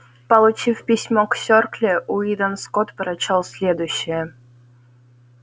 получив письмо к сёркле уидон скотт прочёл следующее